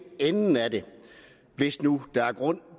enden af det hvis nu der er grund